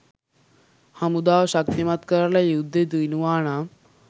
හමුදාව ශක්තිමත් කරලා යුද්දෙ දිනුවා නම්